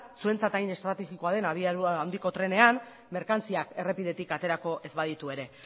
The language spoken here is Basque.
zuentzat hain estrategikoa den abiadura handiko trenean merkantziak errepidetik aterako ez baditu ere